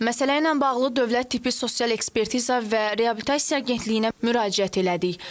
Məsələ ilə bağlı Dövlət Tibbi Sosial Ekspertiza və Reabilitasiya Agentliyinə müraciət elədik.